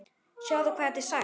Sjáðu hvað þetta er sætt?